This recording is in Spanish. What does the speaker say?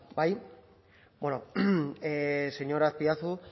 vale bai bueno señor azpiazu